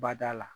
Bada la